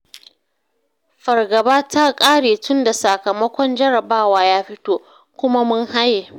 Fargaba ta ƙare tunda sakamakon jarrabawa ya fito, kuma mun haye